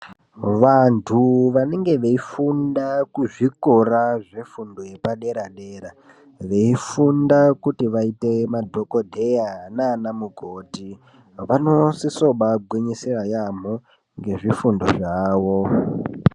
Vantu vanenge veigunda kuzvikora zvefundo yepadera dera veifundia kuti vaite madhokodheya nanan mukoti vanosiso kubaagwinyisira yaamho ngezvifundo zvawo.